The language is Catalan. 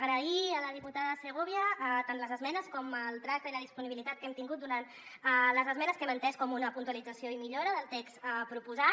agrair a la diputada segovia tant les esmenes com el tracte i la disponibilitat que hem tin·gut durant les esmenes que hem entès com una puntualització i millora del text pro·posat